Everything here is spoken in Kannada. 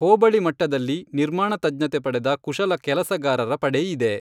ಹೋಬಳಿ ಮಟ್ಟದಲ್ಲಿ ನಿರ್ಮಾಣ ತಜ್ಞತೆ ಪಡೆದ ಕುಶಲ ಕೆಲಸಗಾರರ ಪಡೆ ಇದೆ.